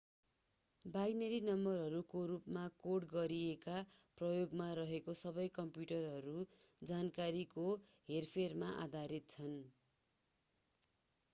binary नम्बरहरूको रूपमा code गरिएका प्रयोगमा रहेका सबै कम्प्युटरहरू जानकारीको हेरफेरमा आधारित छन्